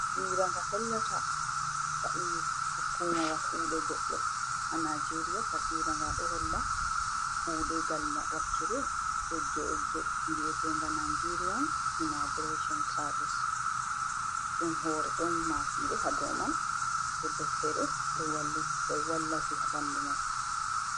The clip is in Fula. Tasmira nga hollata, hukumawa kuuɗe goɗɗo a Najeeria. Tasmira nga ɗo holla kuuɗe ngal wakkire egge egge, bi'eteenga Najeeriyan Imiigirecon Saavis. Ɗum hoore ɗon maafiire haa dow man, e deftere ɗo wallafi haa ɓanndu may.